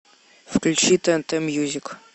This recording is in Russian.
включи тнт мьюзик